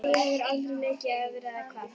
Þú hefur aldrei leikið áður eða hvað?